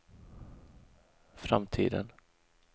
framtiden